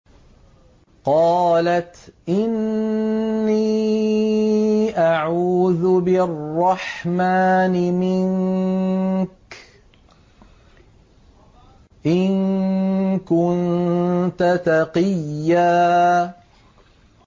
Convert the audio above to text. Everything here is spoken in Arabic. قَالَتْ إِنِّي أَعُوذُ بِالرَّحْمَٰنِ مِنكَ إِن كُنتَ تَقِيًّا